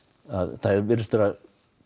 það virðist vera